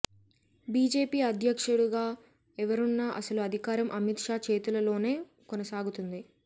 BJP అధ్యక్షుడుగా ఎవరున్నా అసలు అధికారం అమిత్ షా చేతులలోనే కొనసాగుతుంది